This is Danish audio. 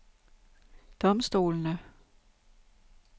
domstolene